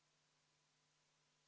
Vadim Belobrovtsev, palun!